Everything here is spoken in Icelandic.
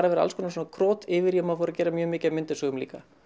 að vera alls konar krot yfir í að ég fór að gera mjög mikið af myndasögum líka